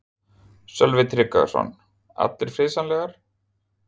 Sölvi Tryggvason: Allar friðsamlegar?